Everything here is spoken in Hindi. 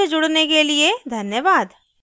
हमसे जुड़ने के लिए धन्यवाद